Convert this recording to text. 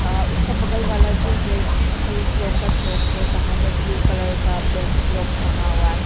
उसका बगल वाला जो है शूज लोग का शॉप है बाहर में ब्ल्यू कलर बैग्स लोग टंगा हुआ है।